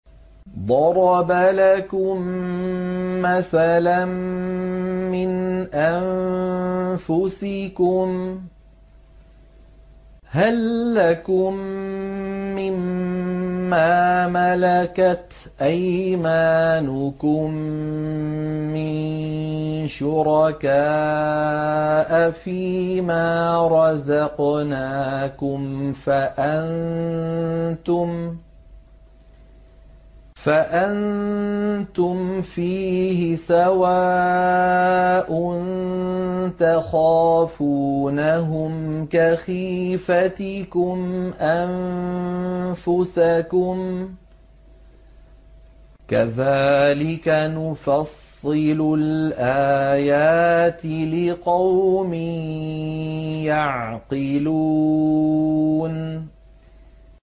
ضَرَبَ لَكُم مَّثَلًا مِّنْ أَنفُسِكُمْ ۖ هَل لَّكُم مِّن مَّا مَلَكَتْ أَيْمَانُكُم مِّن شُرَكَاءَ فِي مَا رَزَقْنَاكُمْ فَأَنتُمْ فِيهِ سَوَاءٌ تَخَافُونَهُمْ كَخِيفَتِكُمْ أَنفُسَكُمْ ۚ كَذَٰلِكَ نُفَصِّلُ الْآيَاتِ لِقَوْمٍ يَعْقِلُونَ